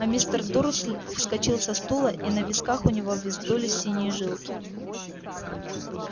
а мистер дурсль вскочил со стула и на висках у него вздулись синие жилки